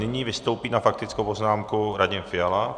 Nyní vystoupí na faktickou poznámku Radim Fiala.